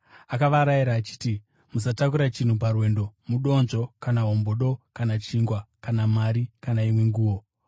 Akavarayira achiti, “Musatakura chinhu parwendo, mudonzvo, kana hombodo, kana chingwa, kana mari, kana imwe nguo.